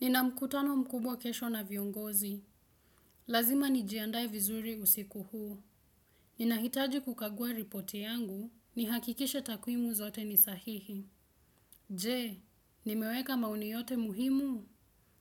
Nina mkutano mkubwa kesho na viongozi. Lazima nijiandae vizuri usiku huu. Ninahitaji kukagua ripoti yangu. Nihakikishe takwimu zote ni sahihi. Je, nimeweka maoni yote muhimu.